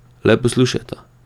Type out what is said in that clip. Le poslušajta.